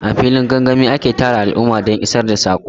A filin gangami ake tara al'umma don isar da saƙo.